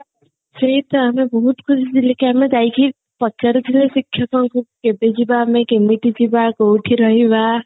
ସେଇତ ଆମେ ବହୁତ ଖୁସି ଥିଲେ କି ଆମେ ଯାଇକି ପଚାରି ଥାଉ ଶିକ୍ଷକଙ୍କୁ କେବେ ଯିବା ଆମେ କେମତିତି ଯିବା କୋଉଠି ରହିବା